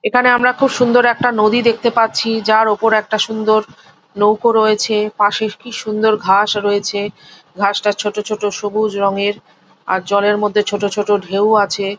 এখানে আমরা খুব সুন্দর একটা নদী দেখতে পারছি। যার উপরে একটা সুন্দর নৌকো রয়েছে। পশে কি সুন্দর ঘাস রয়েছে। ঘাস টা ছোট ছোট সবুজ রঙের। আর জলের মধ্যে ছোট ছোট ঢেউ আছে।